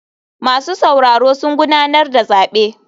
Masu sauraro sun gudanar da zabe.